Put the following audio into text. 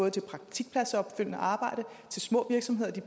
af til praktiskpladsopfølgende arbejde så små virksomheder